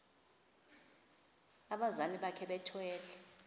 abazali bakhe bethwele